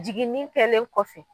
Jiginin kɛlen kɔfɛ.